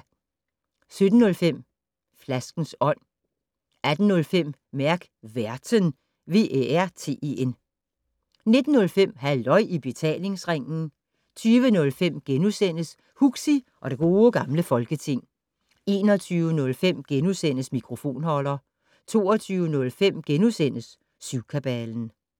17:05: Flaskens Ånd 18:05: Mærk Værten 19:05: Halløj i Betalingsringen 20:05: Huxi og det Gode Gamle Folketing * 21:05: Mikrofonholder * 22:05: Syvkabalen *